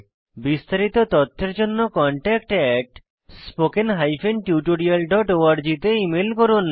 বিস্তারিত তথ্যের জন্য contactspoken tutorialorg তে ইমেল করুন